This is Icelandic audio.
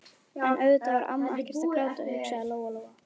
En auðvitað var amma ekkert að gráta, hugsaði Lóa Lóa.